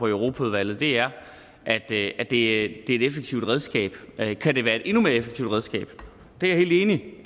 europaudvalget er at det er et effektivt redskab at det kan være et endnu mere effektivt redskab er jeg helt enig